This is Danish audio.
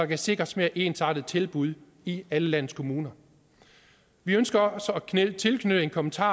kan sikres mere ensartede tilbud i alle landets kommuner vi ønsker også at knytte en kommentar